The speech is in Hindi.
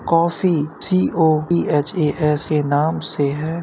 Coffee COEHASA. नाम से है।